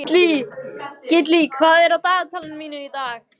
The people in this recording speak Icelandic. Gillý, hvað er á dagatalinu mínu í dag?